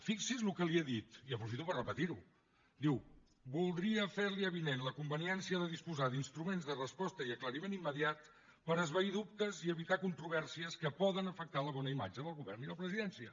fixi’s el que li he dit i aprofito per repetir ho diu voldria fer li avinent la conveniència de disposar d’instruments de resposta i aclariment immediat per esvair dubtes i evitar controvèrsies que poden afectar la bona imatge del govern i la presidència